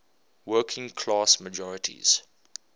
working class majorities